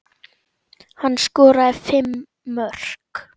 Hann skoraði fimm mörk.